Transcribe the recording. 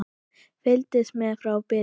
Fylgist með frá byrjun!